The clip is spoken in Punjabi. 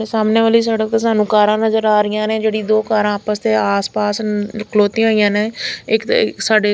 ਇਹ ਸਾਹਮਣੇ ਵਾਲੀ ਸੜਕ ਤੇ ਸਾਨੂੰ ਕਾਰਾਂ ਨਜ਼ਰ ਆ ਰਹੀਆਂ ਨੇ ਜਿਹੜੀ ਦੋ ਕਾਰਾਂ ਆਪਸ ਤੇ ਆਸ ਪਾਸ ਖਲੋਤੀਆਂ ਹੋਈਆਂ ਨੇ ਇਕ ਤੇ ਸਾਡੇ--